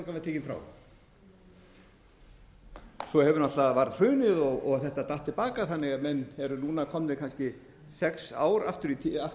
var tekin frá svo náttúrlega varð hrunið og þetta datt til baka þannig að menn eru núna komnir kannski sex ár aftur í tímann til að